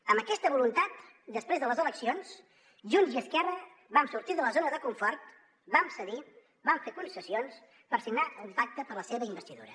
amb aquesta voluntat després de les eleccions junts i esquerra vam sortir de la zona de confort vam cedir vam fer concessions per signar un pacte per a la seva investidura